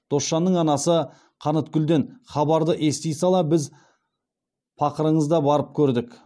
досжанның анасы қаныткүлден хабарды ести сала біз пақырыңыз да барып көрдік